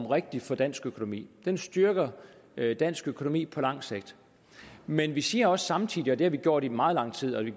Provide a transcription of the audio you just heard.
rigtig for dansk økonomi den styrker dansk økonomi på lang sigt men vi siger samtidig også og det har vi gjort i meget lang tid vi